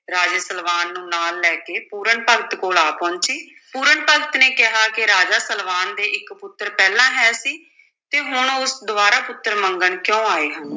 ਰਾਜੇ ਸਲਵਾਨ ਨੂੰ ਨਾਲ ਲੈ ਕੇ ਪੂਰਨ ਭਗਤ ਕੋਲ ਆ ਪਹੁੰਚੀ, ਪੂਰਨ ਭਗਤ ਨੇ ਕਿਹਾ ਕਿ ਰਾਜਾ ਸਲਵਾਨ ਦੇ ਇੱਕ ਪੁੱਤਰ ਪਹਿਲਾਂ ਹੈ ਸੀ, ਤੇ ਹੁਣ ਉਹ ਦੁਬਾਰਾ ਪੁੱਤਰ ਮੰਗਣ ਕਿਉਂ ਆਏ ਹਨ?